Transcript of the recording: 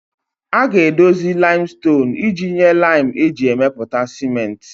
A ga-edozi limestone iji nye lime eji emepụta ciment